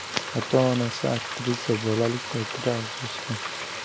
Ota-onasi aktrisa bolalik paytida ajrashgan.